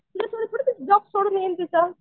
तुझ्यासाठी थोडीच ती जॉब सोडून येईल तिथं.